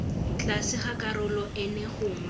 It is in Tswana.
tlase ga karolo eno gongwe